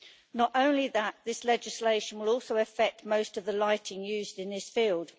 Not only that the legislation will also affect most of the lighting used in this field.